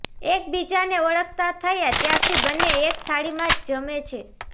એકબીજાને ઓળખતા થયા ત્યારથી બંને એક થાળીમાં જ જમે